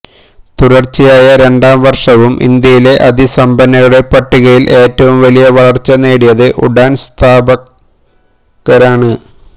തുടർച്ചയായ രണ്ടാം വർഷവും ഇന്ത്യയിലെ അതിസമ്പന്നരുടെ പട്ടികയിൽ ഏറ്റവും വലിയ വളർച്ച നേടിയത് ഉഡാൻ സ്ഥാപകരാണ്